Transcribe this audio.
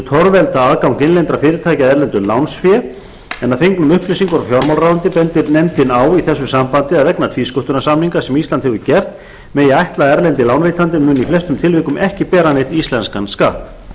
torvelda aðgang innlendra fyrirtækja að erlendu lánsfé að fengnum upplýsingum frá fjármálaráðuneyti bendir nefndin á í þessu sambandi að vegna tvísköttunarsamninga sem ísland hefur gert megi ætla að erlendi lánveitandinn muni í flestum tilvikum ekki bera neinn íslenskan skatt